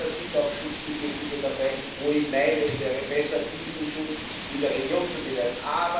Ja, da sind auch Schutzbedürftige dabei, wo ich meine, es wäre besser, diesen Schutz in der Region zu gewähren.